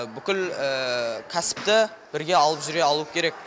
бүкіл кәсіпті бірге алып жүре алуы керек